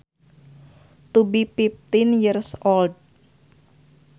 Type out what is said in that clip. To be fifteen years old